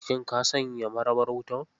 Shin ka sanya marabar wutar.